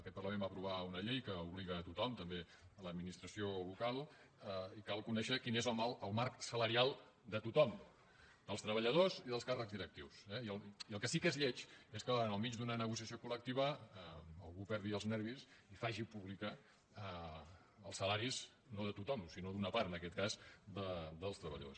aquest parlament va aprovar una llei que obliga a tothom també l’administració local i cal conèixer quin és el marc salarial de tothom dels treballadors i dels càrrecs directius eh i el que sí que és lleig és que en el mig d’una negociació col·lectiva algú perdi els nervis i faci públics els salaris no de tothom sinó d’una part en aquest cas dels treballadors